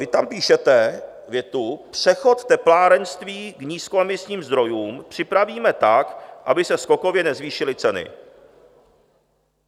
Vy tam píšete větu: "Přechod teplárenství k nízkoemisním zdrojům připravíme tak, aby se skokově nezvýšily ceny."